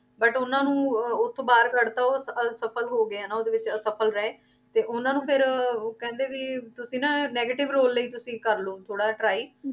But ਉਹਨਾਂ ਨੂੰ ਉਹ ਉੱਥੋਂ ਬਾਹਰ ਕੱਢ ਦਿੱਤਾ ਉਹ ਅਸਫਲ ਹੋ ਗਏ ਨਾ ਉਹਦੇ ਵਿੱਚ ਅਸਫਲ ਰਹੇ, ਤੇ ਉਹਨਾਂ ਨੂੰ ਫਿਰ ਉਹ ਕਹਿੰਦੇ ਵੀ ਤੁਸੀਂ ਨਾ negative ਰੋਲ ਲਈ ਤੁਸੀਂ ਕਰ ਲਓ ਥੋੜ੍ਹਾ ਜਿਹਾ try